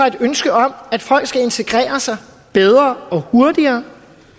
et ønske om at folk skal integrere sig bedre og hurtigere